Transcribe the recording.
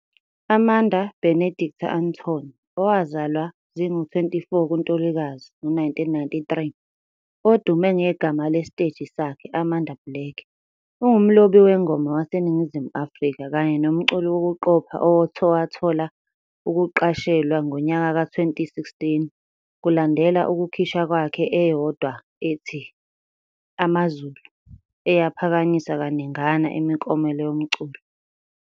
Amanda Benedicta Antony, owazalwa zingama-24 kuNtulikazi 1993, odume ngegama lesiteji sakhe Amanda Black, ungumlobi-wengoma waseNingizimu Afrika kanye nomculi wokuqopha owathola ukuqashelwa ngonyaka ka-2016 kulandela ukukhishwa kwakhe eyodwa ethi "Amazulu", eyaphakanyiswa kaningana imiklomelo yomculo.